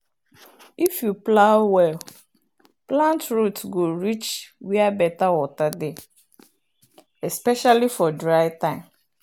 if you plow well plant root go reach where better water dey especially for dry time.